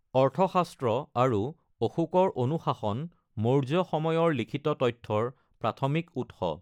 অৰ্থশাস্ত্ৰ আৰু অশোকৰ অনুশাসন মৌৰ্য্য সময়ৰ লিখিত তথ্যৰ প্ৰাথমিক উৎস।